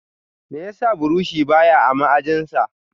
Meyasa buroshi ba ya a ma'aji sa?